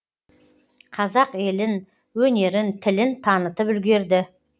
қазақ елін өнерін тілін танытып үлгерді